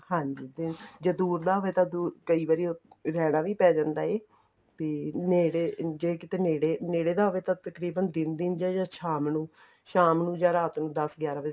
ਹਾਂਜੀ ਤੇ ਦੂਰ ਦਾ ਹੋਵੇ ਕਈ ਵਾਰੀ ਰਹਿਣਾ ਵੀ ਪੈ ਜਾਂਦਾ ਏ ਤੇ ਨੇੜੇ ਜ਼ੇ ਕਿੱਥੇ ਨੇੜੇ ਨੇੜੇ ਦਾ ਹੋਵੇ ਤਾਂ ਤਕਰੀਬਨ ਦਿਨ ਦਿਨ ਚ ਜਾਂ ਸ਼ਾਮ ਨੂੰ ਸ਼ਾਮ ਨੂੰ ਜਾਂ ਰਾਤ ਨੂੰ ਦਸ ਗਿਆਰਾਂ ਵਜ਼ੇ